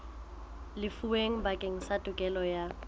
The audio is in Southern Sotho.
lefuweng bakeng sa tokelo ya